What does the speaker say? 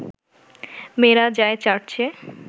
মেয়েরা যায় চার্চে